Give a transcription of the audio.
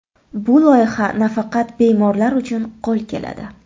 Bu loyiha nafaqat bemorlar uchun qo‘l keladi.